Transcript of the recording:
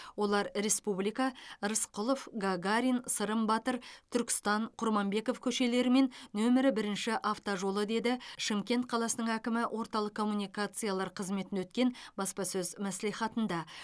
олар республика рысқұлов гагарин сырым батыр түркістан құрманбеков көшелері мен нөмірі бірінші автожолы деді шымкент қаласының әкімі орталық комуникациялар қызметін өткен баспасөз мәслихатында